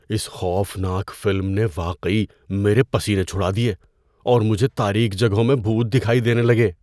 اس خوفناک فلم نے واقعی میرے پسینے چھڑا دیے اور مجھے تاریک جگہوں میں بھوت دکھائی دینے لگے۔